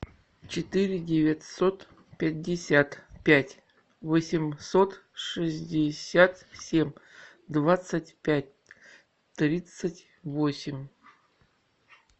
четыре девятьсот пятьдесят пять восемьсот шестьдесят семь двадцать пять тридцать восемь